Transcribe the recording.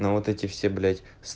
ну вот эти все блять